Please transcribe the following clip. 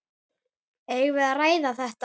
Eigum við að ræða þetta?